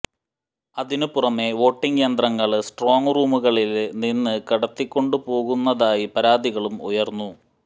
അതിനു പുറമെ വോട്ടിങ് യന്ത്രങ്ങള് സ്ട്രോങ് റൂമുകളില് നിന്ന് കടത്തിക്കൊണ്ടുപോകുന്നതായി പരാതികളും ഉയര്ന്നു